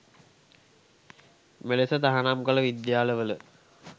මෙලෙස තහනම් කළ විද්‍යාල වල